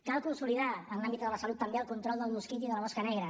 cal consolidar en l’àmbit de la salut també el control del mosquit i de la mosca negra